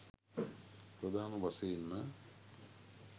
ප්‍රධාන වශයෙන්ම